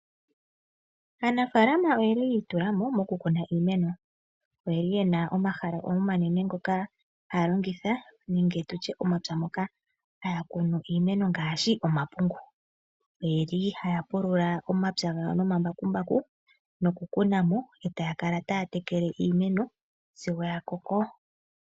Aanafalama oyeli yiitula mo mokukuna iimeno. Oyeli yena omahala omanene ngoka haya longitha nenge tutye omapya moka haya kunu iimeno ngaashi omapungu. Oyeli haya pulula omapya gawo nomambakumbaku nokukuna mo etaya kala taya tekele iimeno sigo yakoko.